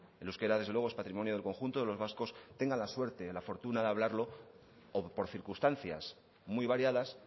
el euskera desde luego es patrimonio del conjunto de los vascos tengan la suerte o la fortuna de hablarlo o por circunstancias muy variadas